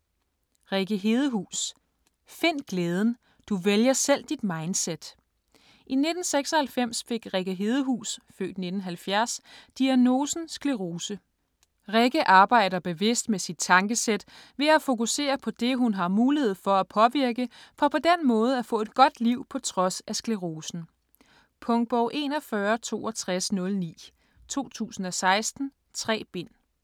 Hedehus, Rikke: Find glæden: du vælger selv dit mindset I 1996 fik Rikke Hedehus (f. 1970) diagnosen sclerose. Rikke arbejder bevidst med sit tankesæt ved at fokusere på det, hun har mulighed for at påvirke, for på den måde at få et godt liv på trods af sklerosen. Punktbog 416209 2016. 3 bind.